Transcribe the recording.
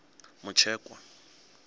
mutshekwa